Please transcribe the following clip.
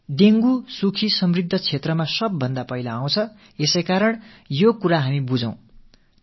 dengue அனைத்து வளங்களும் நிறைந்த செழிப்பான வீடுகளைத் தான் முதலில் தாக்கும் என்பதை நாம் நன்கு புரிந்து கொள்ள வேண்டும்